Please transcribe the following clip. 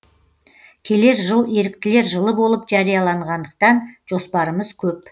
келер жыл еріктілер жылы болып жарияланғандықтан жоспарымыз көп